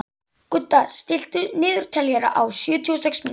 Gudda, stilltu niðurteljara á sjötíu og sex mínútur.